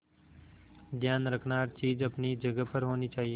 ध्यान रखना हर एक चीज अपनी जगह पर होनी चाहिए